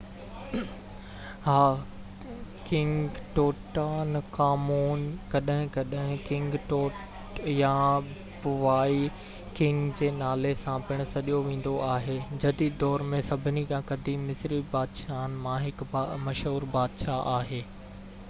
ها king Tutankhamun ڪڏهن ڪڏهن ڪنگ ٽوٽ يا بوائي ڪنگ جي نالي سان پڻ سڏيو ويندو آهي جديد دور ۾ سڀني کان قديم مصري بادشاهن مان هڪ مشهور بادشاهه آهي